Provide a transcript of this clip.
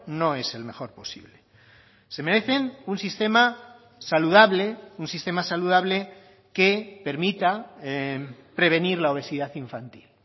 no es el mejor posible se merecen un sistema saludable un sistema saludable que permita prevenir la obesidad infantil